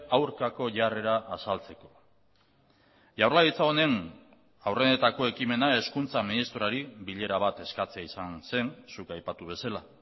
aurkako jarrera azaltzeko jaurlaritza honen aurrenetako ekimena hezkuntza ministroari bilera bat eskatzea izan zen zuk aipatu bezala